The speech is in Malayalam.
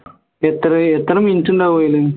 എത്ര എത്ര minute ഉണ്ടാവും ഇത്